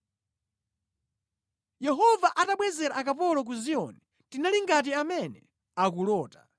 Yehova atabwezera akapolo ku Ziyoni, tinali ngati amene akulota.